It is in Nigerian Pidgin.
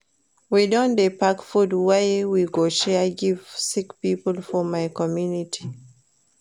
We don dey pack food wey we go share give sick pipo for my community.